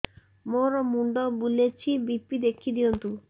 ମୋର ମୁଣ୍ଡ ବୁଲେଛି ବି.ପି ଦେଖି ଦିଅନ୍ତୁ